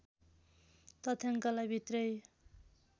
तथ्याङ्कलाई भित्र्याई